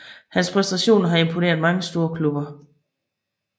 Hans præstationer har imponeret mange storklubber